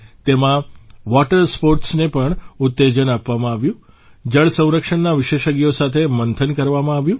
તેમાં વોટર સ્પોર્ટસને પણ ઉત્તેજન આપવામાં આવ્યું જળસંરક્ષણના વિશેષજ્ઞો સાથે મંથન પણ કરવામાં આવ્યું